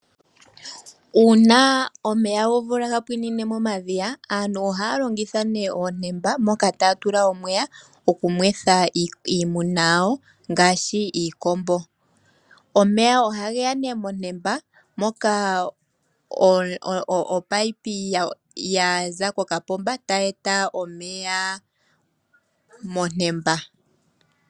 Uuna omeya gomvula gapwinine momadhiya aantu ohaya longitha nee omatemba moka taatu omeya okunethwa iimuna yawo ngaashi iikombo. Omeya oha geya nee metemba moka opayipi yaza kokapomba tayi eta omeya metemba.